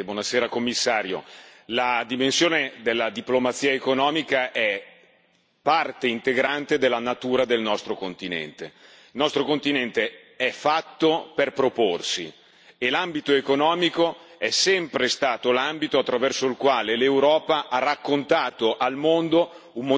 colleghi, signor Commissario, la dimensione della diplomazia economica è parte integrante della natura del nostro continente. Il nostro continente è fatto per proporsi e l'ambito economico è sempre stato l'ambito attraverso il quale l'Europa ha raccontato al mondo un modello di sviluppo forte, solido,